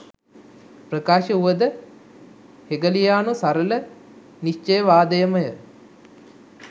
ප්‍රකාශ වුවද හෙගලියානු සරල නිශ්චයවාදයම ය.